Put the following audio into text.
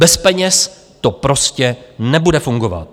Bez peněz to prostě nebude fungovat.